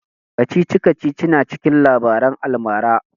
Kacici-kacici na cikin labaran almara